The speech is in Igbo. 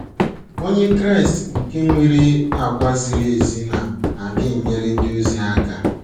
Onye Kraịst nke nwere àgwà ziri ezi na - aga enyere ndị ọzọ aka